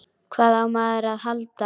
Hvað á maður að halda?